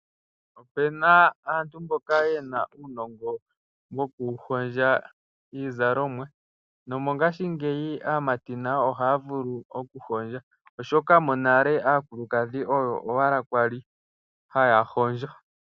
Opena aantu mboka yena uunongo mboka woku hondja iizalomwa no mongashingeyi aamati nayo ohaya vulu oku hondja, oshoka monale aakulukadhi oyo owala kwali haya hondjo.